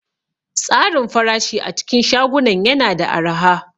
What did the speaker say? Tsarin farashi a cikin shagunan yana da araha.